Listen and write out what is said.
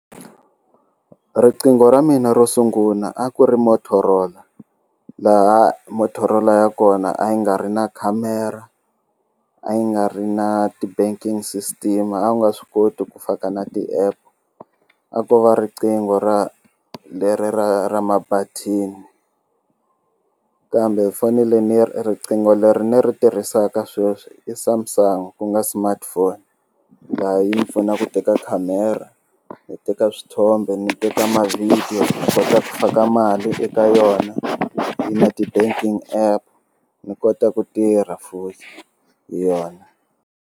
Riqingho ra mina ro sunguna a ku ri Motorola laha Motorola ya kona a yi nga ri na khamera a yi nga ri na ti banking system a wu nga swi koti ku fana na ti-app a ko va riqingho ra leri ra ra mabatheni kambe foni leyi riqingho leri ni ri tirhisaka sweswi i Samsung ku nga smartphone laha yi pfuna ku teka khamera hi teka swithombe ni teka ma-video u kota ku faka mali eka yona yi na ti-banking app ni kota ku tirha hi yona.